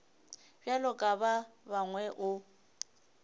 bjalo ka ba bangwe o